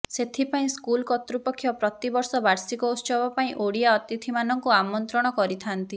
ସେଥିପାଇଁ ସ୍କୁଲ କର୍ତ୍ତୃପକ୍ଷ ପ୍ରତିବର୍ଷ ବାର୍ଷିକ ଉତ୍ସବ ପାଇଁ ଓଡ଼ିଆ ଅତିଥିମାନଙ୍କୁ ଆମନ୍ତ୍ରଣ କରିଥାନ୍ତି